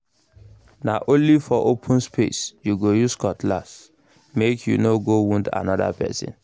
na only for open space you go use cutlass—make you no go wound another person